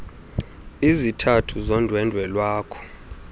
izizathu zondwendwe lwakho